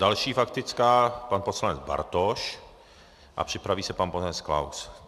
Další faktická, pan poslanec Bartoš, a připraví se pan poslanec Klaus.